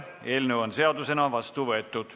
Eelnõu on seadusena vastu võetud.